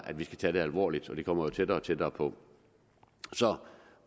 at vi tager det alvorligt det kommer jo tættere og tættere på så